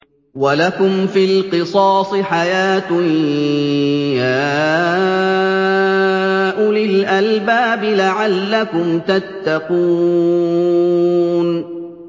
وَلَكُمْ فِي الْقِصَاصِ حَيَاةٌ يَا أُولِي الْأَلْبَابِ لَعَلَّكُمْ تَتَّقُونَ